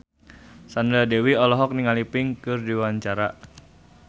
Sandra Dewi olohok ningali Pink keur diwawancara